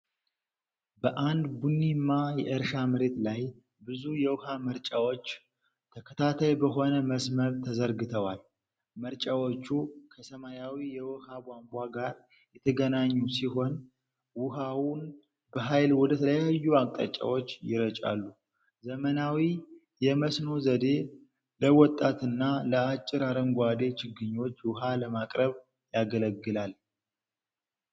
በአንድ ቡኒማ የእርሻ መሬት ላይ ብዙ የውሃ መርጫዎች ተከታታይ በሆነ መስመር ተዘርግተዋል። መርጫዎቹ ከሰማያዊ የውሃ ቧንቧ ጋር የተገናኙ ሲሆን፣ ውሃውን በኃይል ወደ ተለያዩ አቅጣጫዎች ይረጫሉ። ዘመናዊ የመስኖ ዘዴ ለወጣትና ለአጭር አረንጓዴ ችግኞች ውሃ ለማቅረብ ያገለግላል።